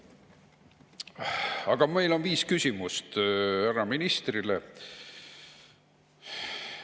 Aga meil on viis küsimust härra ministrile.